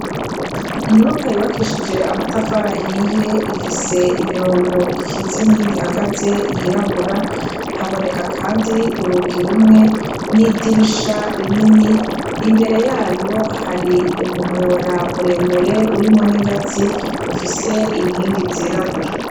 Inyumakwa yubakishije amatafara ahiye ifise imirongo ikitse n'indi hagaze yirabura haboneka kandi urugi rumwe n'idirisha rinini imbere yayo hari umuhora muremure urimwo n'ingazi ufise inkingi zirabura.